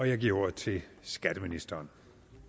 jeg giver ordet til skatteministeren